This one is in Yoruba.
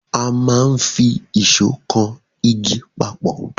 A máa n fi ìsó kan igi papọ̀